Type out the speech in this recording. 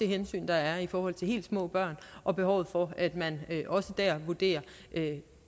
hensyn der er i forhold til helt små børn og behovet for at man også der vurderer det